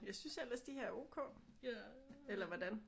Jeg synes ellers at de her er ok. Eller hvordan?